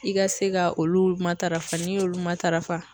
I ka se ka olu matarafa n'i y'olu matarafa